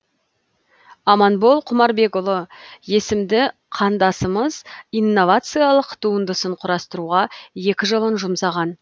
аманбол құмарбекұлы есімді қандасымыз инновациялық туындысын құрастыруға екі жылын жұмсаған